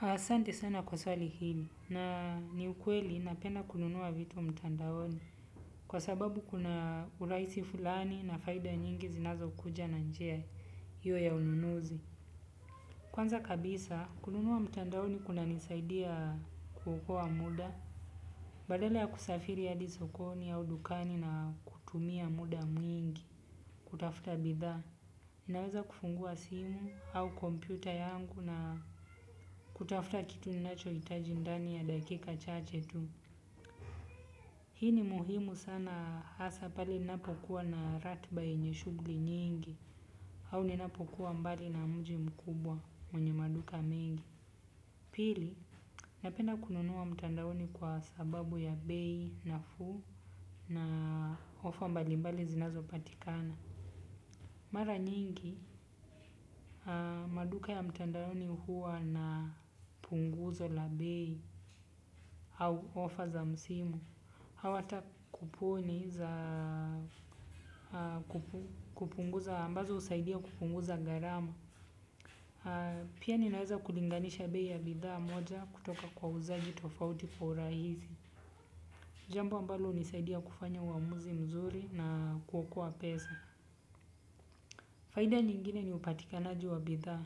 Asante sana kwa swali hili na ni ukweli napenda kununua vitu mtandaoni kwa sababu kuna urahisi fulani na faida nyingi zinazo kuja na njia hiyo ya ununuzi. Kwanza kabisa kununua mtandaoni kuna nisaidia kuokoa muda. Badala ya kusafiri hadi sokoni au dukani na kutumia muda mwingi kutafuta bidhaa. Naweza kufungua simu au kompyuta yangu na kutafuta kitu ninacho hitajindani ya dakika chache tu. Hii ni muhimu sana hasa pale ninapokuwa na ratiba yenyeshughuli nyingi au ninapokuwa mbali na mji mkubwa mwenye maduka mengi. Pili, napenda kununua mtandaoni kwa sababu ya bei na fuu na ofa mbali mbali zinazo patikana. Mara nyingi, maduka ya mtandaoni huwa na punguzo la bei au ofa za msimu. Hawata kupu ni za kupunguza ambazo husaidia kupunguza gharama. Pia ninaweza kulinganisha bei ya bidhaa moja kutoka kwa wauzaji tofauti kwa urahisi. Jambo ambalo hunisaidia kufanya uamuzi mzuri na kuokoa pesa. Faida nyingine ni upatikanaji wa bidhaa.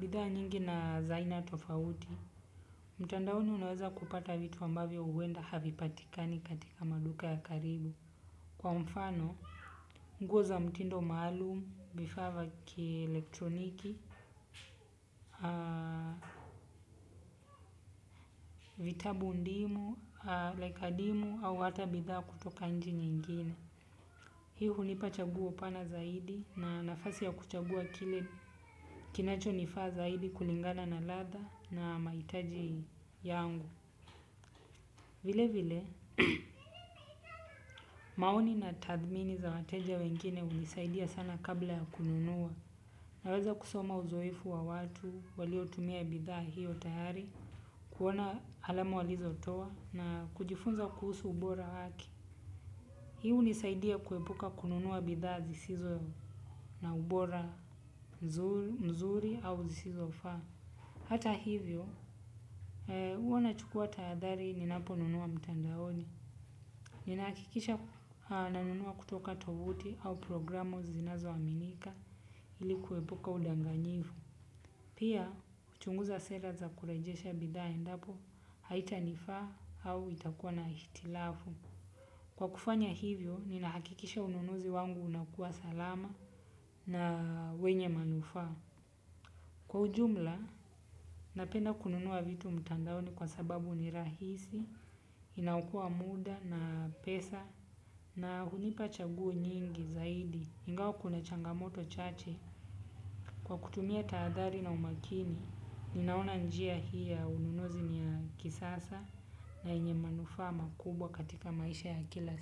Bidhaa nyingi na zaina tofauti, mtandaoni unaweza kupata vitu ambavyo huenda havi patikani katika maduka ya karibu. Kwa mfano, nguoza mtindo maalum, vifaavya ki elektroniki, vitabu ndimu, laikadimu au hata bidhaa kutoka nchi nyingine. Hii hunipa chaguo pana zaidi na nafasi ya kuchagua kile kinacho nifaa zaidi kulingana na ladha na mahitaji yangu vilevile maoni na tathmini za wateja wengine hunisaidia sana kabla ya kununua. Naweza kusoma uzoefu wa watu, walio tumia bidhaa hiyo tayari, kuona alama walizo toa na kujifunza kuhusu ubora wake. Hii hunisaidia kuepuka kununua bidhaa zisizo na ubora mzuri au zisizo faa. Hata hivyo, huwana chukua tahadhari ninapo nunua mtandaoni. Ninahakikisha nanunua kutoka tovuti au programu zinazo aminika ilikuepuka udanganyifu. Pia, huchunguza sera za kurejesha bidhaa endapo haitanifaa au itakuwa na hitilafu. Kwa kufanya hivyo, ninahakikisha ununuzi wangu unakuwa salama na wenye manufaa. Kwa ujumla, napenda kununua vitu mtandaoni kwa sababu ni rahisi, inaokoa muda na pesa. Na hunipa chaguo nyingi zaidi ingawa kuna changamoto chache. Kwa kutumia tahadhari na umakini ninaona njia hiiya ununuzi niya kisasa. Na yenye manufaama kubwa katika maisha ya kila.